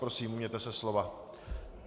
Prosím, ujměte se slova.